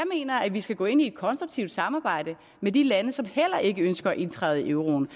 at vi skal gå ind i et konstruktivt samarbejde med de lande som heller ikke ønsker at indtræde i euroen